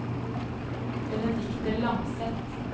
Benedikte Langseth